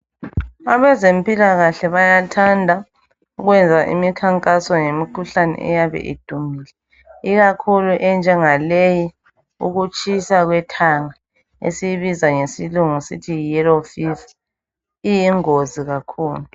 Abazempilakahle bayathanda ukwenza imikhankaso ngemikhuhlane eyabe idumile, ikakhulu enjengaleyi ekutshayisa ngekhanda leyi okuthiwa yiyellow fever iyingozi kakhulu.